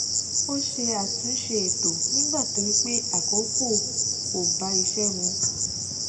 ó ṣe àtúnṣe ètò nígbà tó rí pé àkókò kọ bá iṣé mu